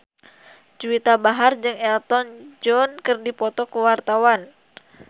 Juwita Bahar jeung Elton John keur dipoto ku wartawan